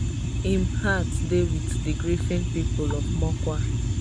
im heart dey wit di grieving pipo of mokwa